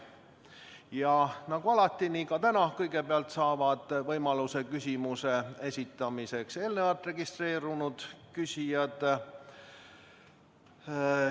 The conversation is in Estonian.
Ja nagu alati, nii ka täna saavad kõigepealt võimaluse küsimuse esitamiseks eelnevalt registreerunud küsijad.